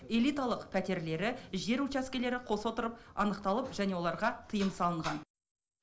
элиталық пәтерлері жер учаскелері қоса отырып анықталып және оларға тыйым салынған